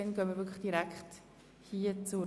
Das ist nicht der Fall.